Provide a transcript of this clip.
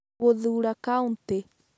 Gũthuura kaunti